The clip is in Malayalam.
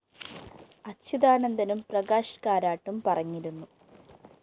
അച്യുതാനന്ദനും പ്രകാശ് കാരാട്ടും പറഞ്ഞിരുന്നു